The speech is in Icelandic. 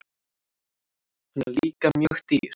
Hann er líka mjög dýr.